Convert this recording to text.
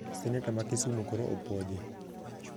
Seneta ma kisumu koro opuodhi